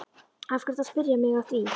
Af hverju ertu að spyrja mig að því?